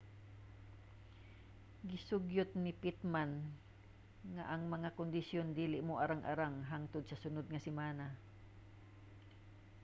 gisugyot ni pittman nga ang mga kondisyon dili moarang-arang hangtod sa sunod nga semana